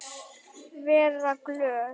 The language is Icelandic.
Og sagst vera glöð.